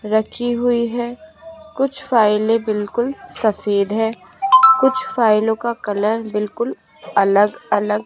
रखी हुई है कुछ फाइलें बिलकुल सफ़ेद हैं कुछ फाइलों का कलर बिलकुल अलग अलग --